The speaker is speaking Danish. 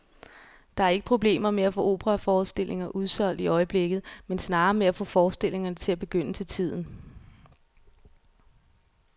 Der er ikke problemer med at få operaforestillinger udsolgt i øjeblikket, men snarere med at få forestillingerne til at begynde til tiden.